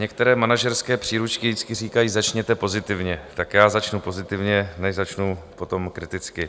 Některé manažerské příručky vždycky říkají: Začněte pozitivně, tak já začnu pozitivně, než začnu potom kriticky.